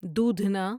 دودھنا